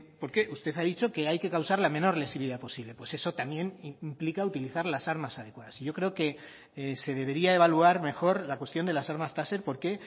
porque usted ha dicho que hay que causar la menor lesividad posible pues eso también implica utilizar las armas adecuadas y yo creo que se debería evaluar mejor la cuestión de las armas taser porque